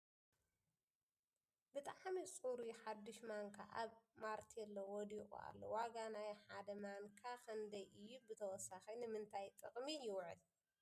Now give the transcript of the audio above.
ብጥዕሚ ፅሩይ ሓዱሽ ማንካ ኣብ ማቴኔላ ወዲቁ ኣሎ ። ዋጋ ናይ ሓደ ማንካ ክንደይ እዩ ብተወሳኪ ንምንታይ ጥቅሚ ይውዕል ?